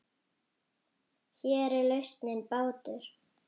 Hér er lausnin bátur.